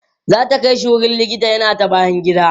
zata Kai shi wurin likita yana ta bayan gida